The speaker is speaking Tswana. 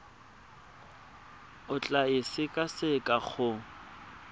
o tla e sekaseka go